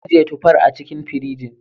Mun ajiye tufar a cikin firinji.